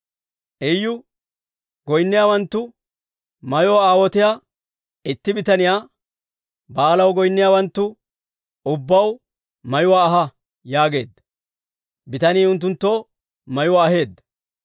Iyu goynniyaawanttu mayoo aawotiyaa itti bitaniyaa, «Ba'aalaw goynniyaawanttu ubbaw mayuwaa ahaa» yaageedda. Bitanii unttunttoo mayuwaa aheedda.